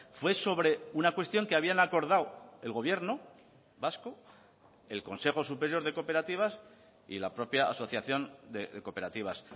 fue sobre una cuestión que habían acordado el gobierno vasco el consejo superior de cooperativas y la propia asociación de cooperativas